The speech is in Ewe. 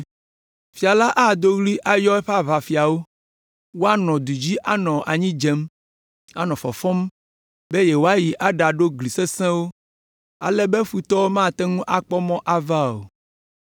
Fia la ado ɣli ayɔ eƒe aʋafiawo; woanɔ du dzi anɔ anyi dzem, anɔ fɔfɔm be yewoayi aɖaɖo gli sesẽwo, ale be futɔwo mate ŋu akpɔ mɔ ava o.